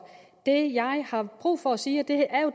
det jeg har brug for at sige og